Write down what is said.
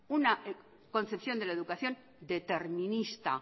una concepción de la educación determinista